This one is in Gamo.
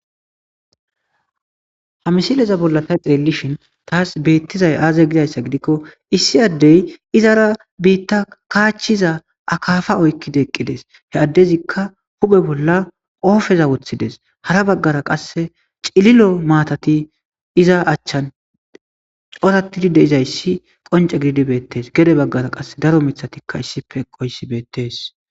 Ha misileza bolla ta xelishn tas betizay aze gizaysa gidikon issi adey izara bitta kachiza akafa oykid eqides . He adezika hu'e bolla qope wothides. Hara bagara qase cilil'o matat iza achan coratid de'izays qonce gidid betes. Gede bagaraka qase daro mithatika issippe eqoys betes.